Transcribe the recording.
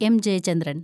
M. Jayachandran‍